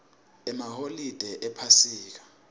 emaholide ephasika